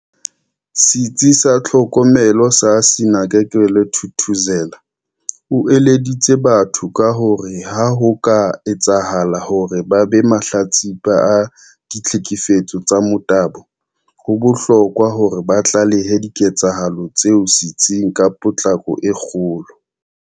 Setsi sa Tlhokomelo sa Sinakekelwe Thuthuzela, o eleditse batho ka hore ha ho ka etsahala hore ba be mahlatsipa a ditlhekefe tso tsa motabo, ho bohlokwa hore ba tlalehe diketsahalo tseo setsing ka potlako e kgolo.